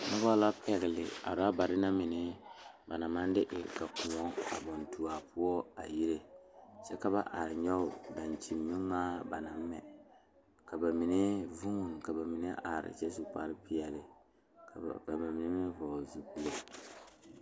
Nobɔ la pɛgle a rɔbarre na mine ba naŋ maŋ de e la kõɔ a baŋ tu a poɔ a yire kyɛ ka ba are nyoge daŋkyinmi ngmaa ba naŋ mɛ ka ba mine vuune ka ba mine are kyɛ su kpare peɛle ka ba mine meŋ vɔgle zupile.